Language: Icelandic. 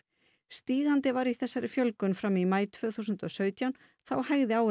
stígandi var í þessari fjölgun fram í maí tvö þúsund og sautján þá hægði á